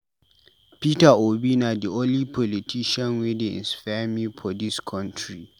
Peter Obi na di only politician wey dey inspire me for dis country.